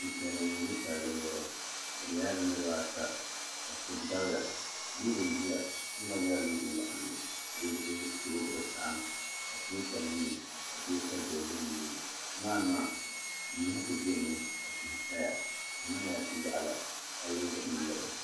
Ninsal nim n bɛ palli zuɣu bi nyɛla bi niraba ata ka so dabiya loori ʒiya loori maa nyɛla loori waɣanli ka o zuɣu saɣam atakulɛta n nyɛ o atakulɛta dozim n nyɛ o nimaa ni maa niraba ku biɛni mi ka tihi saya di mii nyɛla tia waɣala palli zuɣu n nyɛli